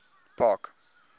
park